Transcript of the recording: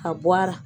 A bɔ a la